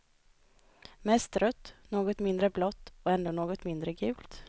Mest rött, något mindre blått och ännu något mindre gult.